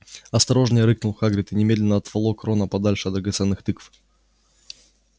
осторожнее рыкнул хагрид и немедленно отволок рона подальше от драгоценных тыкв